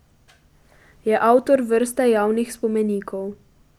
Je avtor vrste javnih spomenikov.